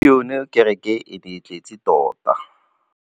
Gompieno kêrêkê e ne e tletse tota.